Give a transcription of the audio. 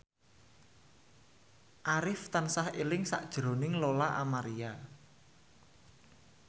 Arif tansah eling sakjroning Lola Amaria